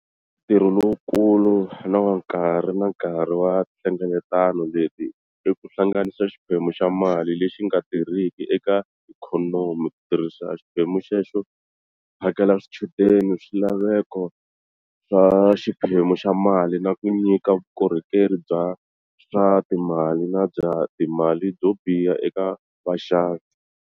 Ntirho lowukulu na wa nkarhi na nkarhi wa tinhlengeletano leti i ku hlanganisa xiphemu xa mali lexi nga tirhiki eka ikhonomi, ku tirhisa xiphemu xexo ku phakela swichudeni swilaveko swa xiphemu xa mali na ku nyika vukorhokeri bya swa timali na bya timali byo biha eka vaxavi.